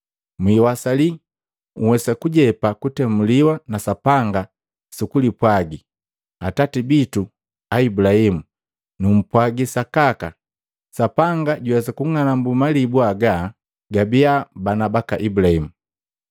Mwiwasali nhwesa kujepa kutemuliwa na Sapanga sukulipwagi, ‘Atati bitu Ibulahimu.’ Numpwagi sakaka, Sapanga juwesa kung'anambu malibu haga gabia bana baka Ibulaimu.